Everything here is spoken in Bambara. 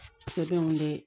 Sɛbɛnw de